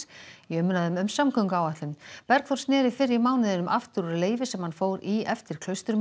í umræðum um samgönguáætlanir Bergþór sneri fyrr í mánuðinum aftur úr leyfi sem hann fór í eftir